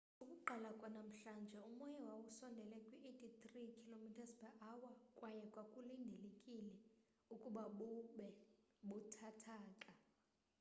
ukuqala kwanamhlanje umoya wawusondele kwi-83 km / h kwaye kwakulindelekile ukuba bube buthathaka